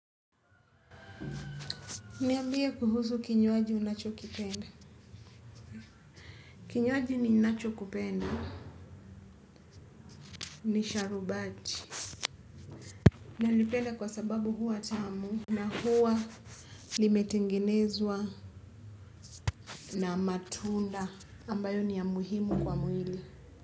Niambie kuhusu kinywaji unachokipenda. Kinywaji ninachokupenda. Ni sharubati. Nalipenda kwa sababu huwa tamu. Na huwa limetengenezwa na matunda. Ambayo ni ya muhimu kwa mwili.